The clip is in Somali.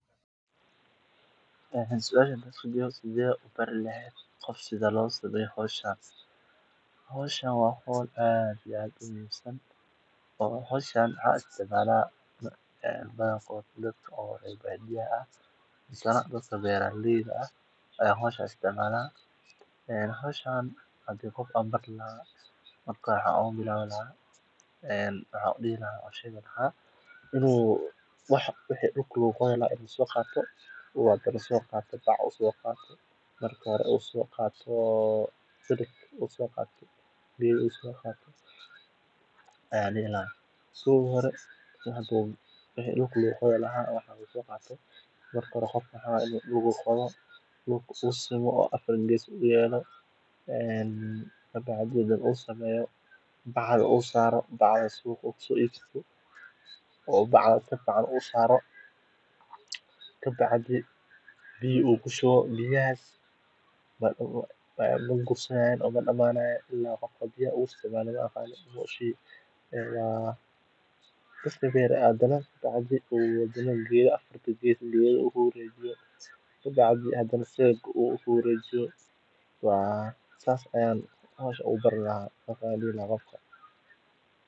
eesha biyaha lagu shubto sida baldoska waxaa lagu magacaabaa weelka lagu kaydiyo ama haanta biyaha , balse marka laga hadlayo si gaar ah meesha sariiga ama dariiqa lagu shubo biyaha ee la dhisay, waxaa la tilmaamayaa biyo-mareen ama biyo-qabasho oo leh baldos ama dhagaxyo la isku dhigay si ay biyuhu ugu socdaan si habaysan.